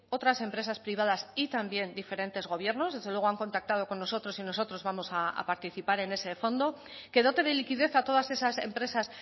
otras empresas privadas y también diferentes gobiernos desde luego han contactado con nosotros y nosotros vamos a participar en ese fondo que dote de liquidez a todas esas empresas